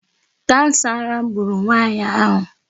Kansa ara gburu nwaanyị ahụ.